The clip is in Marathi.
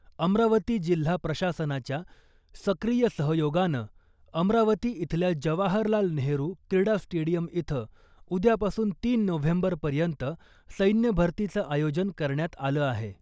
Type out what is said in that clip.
अमरावती जिल्हा प्रशासनाच्या सक्रिय सहयोगानं अमरावती इथल्या जवाहरलाल नेहरू क्रीडा स्टेडियम इथं उद्यापासून तीन नोव्हेंबरपर्यंत सैन्य भरतीचं आयोजन करण्यात आलं आहे .